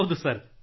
ಹೌದು ಸರ್